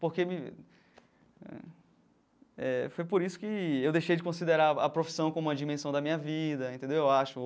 Porque me né...eh foi por isso que eu deixei de considerar a a profissão como uma dimensão da minha vida, entendeu acho?